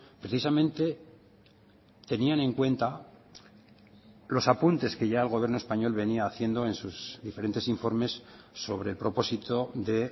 precisamente tenían en cuenta los apuntes que ya el gobierno español venía haciendo en sus diferentes informes sobre el propósito de